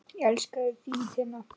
Elska þig, þín Tinna.